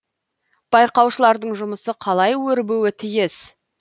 байқаушылардың жұмысы қалай өрбуі тиіс